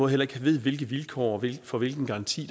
heller ikke ved hvilke vilkår for hvilken garanti